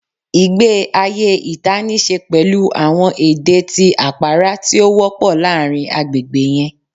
ìgbé ayé ìta níṣe pẹlu àwọn ede ti apara ti o wọpọ láàárín àgbègbè yẹn